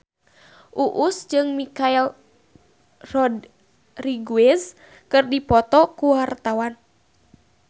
Uus jeung Michelle Rodriguez keur dipoto ku wartawan